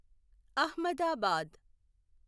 Ahmedabad